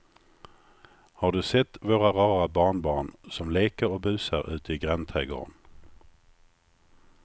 Har du sett våra rara barnbarn som leker och busar ute i grannträdgården!